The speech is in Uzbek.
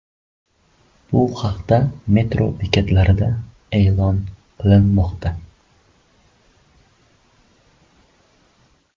Bu haqda metro bekatlarida e’lon qilinmoqda.